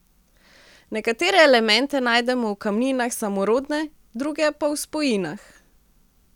Nekatere elemente najdemo v kamninah samorodne, druge pa v spojinah.